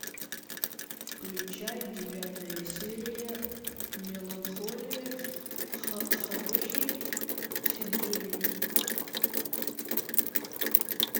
включай девятая серия меланхолия харухи судзумии